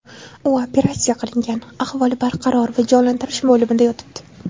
U operatsiya qilingan, ahvoli barqaror va jonlantirish bo‘limida yotibdi.